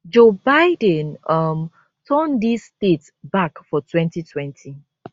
joe biden um turn dis states back for 2020